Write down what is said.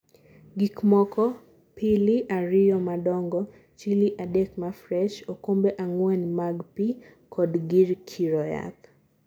gikmoko:pili ariyo madongo, chili adek mafresh, okombe ang'wen mag pi kod gir kiro yath